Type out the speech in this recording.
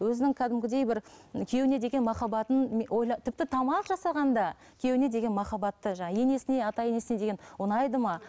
өзінің кәдімгідей бір күйеуіне деген махаббатын тіпті тамақ жасағанында күйеуіне деген махаббатты енесіне ата енесіне деген ұнайды ма